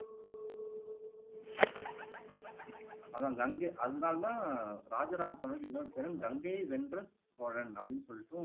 அதான் கங்கை அதனால தான் ராஜராஜ சோழனுக்கு இன்னொரு பேரு கங்கையை வென்ற சோழன் அப்படீன்னு சொல்லிட்டு